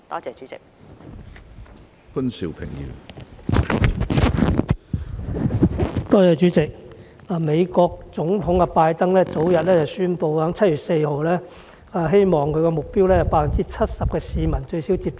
主席，美國總統拜登早前宣布一項目標，希望7月4日前有最少 70% 國民接種一劑疫苗。